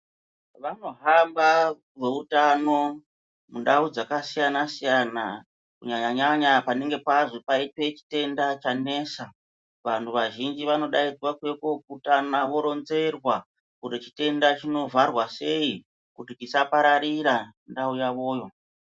Vanohamba veutano mundau dzakasiyana siyana kunyanyanyanya panenge pazi paite chitenda chanesa vanhu vazhinji vanodai kwakuuya kokutana voronzerwa kuti chitenda chinovharwa sei kuti chisapararira ndau yavoyo.